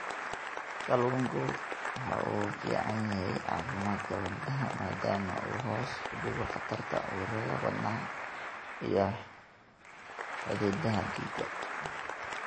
Kalluunku waxa uu u fiican yahay caafimaadka wadnaha maadaama uu hoos u dhigo khatarta cudurrada wadnaha iyo xididdada dhiigga.